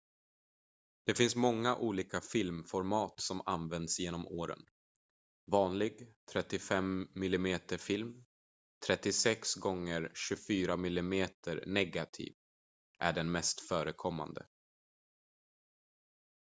det finns många olika filmformat som använts genom åren. vanlig 35 mm-film 36 gånger 24 mm-negativ är den mest förekommande